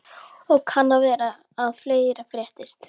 Og kann vera að fleira fréttist.